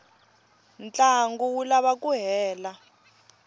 ntlangu wu lava ku hela